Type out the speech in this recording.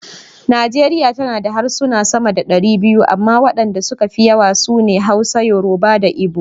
Najeriya tana da harsuna sama da dari biyu amma wadanda suka fi yawa su ne; Hausa, Yoruba da Igbo.